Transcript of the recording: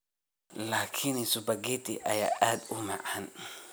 laakiin spaghetti ayaa aad u macaan